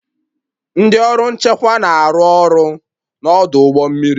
Ndị ọrụ nchekwa na-arụ ọrụ n'ọdụ ụgbọ mmiri